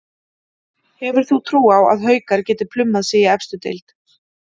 Hefur þú trú á að Haukar geti plummað sig í efstu deild?